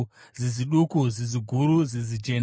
zizi duku, zizi guru, zizi jena,